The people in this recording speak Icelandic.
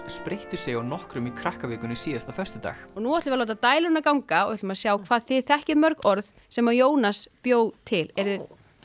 spreyttu sig á nokkrum í Krakkavikunni síðasta föstudag nú ætlum við að láta dæluna ganga og ætlum að sjá hvað þið þekkið mörg orð sem Jónas bjó til eruð þið